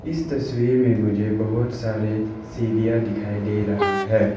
इस तस्वीर में मुझे बहुत सारे सीरिया दिखाई दे रहा है।